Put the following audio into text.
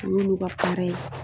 O y'ulu ka paara ye.